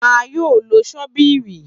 A yoo lo ṣóbìrì.